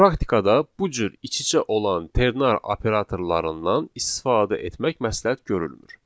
Praktikada bu cür iç-içə olan ternar operatorlarından istifadə etmək məsləhət görülmür.